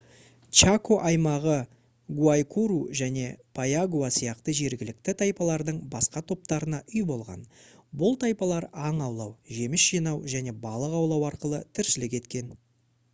чако аймағы гуайкуру және пайагуа сияқты жергілікті тайпалардың басқа топтарына үй болған бұл тайпалар аң аулау жеміс жинау және балық аулау арқылы тіршілік еткен